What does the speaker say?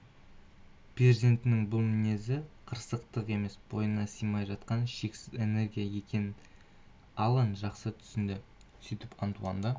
перзентінің бұл мінезі қырсықтық емес бойына сыймай жатқан шексіз энергия екенін алан жақсы түсінді сөйтіп антуанды